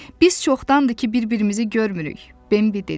Biz çoxdandır ki, bir-birimizi görmürük, Bambi dedi.